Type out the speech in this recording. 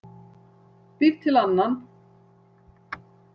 Býr til annan.